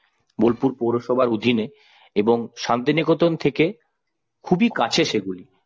বোলপুর পৌরসভার অধীনে এবং শান্তিনিকেতন থেকে খুবই কাছে সেগুলি।